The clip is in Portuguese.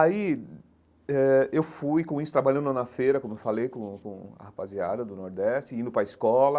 Aí, eh eu fui com isso, trabalhando na feira, como eu falei com com a rapaziada do Nordeste, indo para a escola.